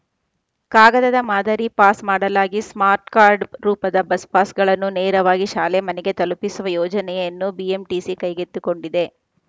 ಕಾಗದದ ಮಾದರಿ ಪಾಸ್‌ ಮಾಡಲಾಗಿ ಸ್ಮಾರ್ಟ್‌ಕಾರ್ಡ್‌ ರೂಪದ ಬಸ್‌ ಪಾಸ್‌ಗಳನ್ನು ನೇರವಾಗಿ ಶಾಲೆ ಮನೆಗೆ ತಲುಪಿಸುವ ಯೋಜನೆಯನ್ನು ಬಿಎಂಟಿಸಿ ಕೈಗೆತ್ತಿಕೊಂಡಿದೆ